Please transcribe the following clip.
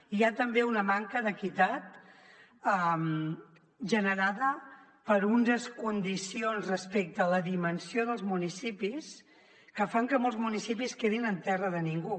i hi ha també una manca d’equitat generada per unes condicions respecte a la dimensió dels municipis que fa que molts municipis quedin en terra de ningú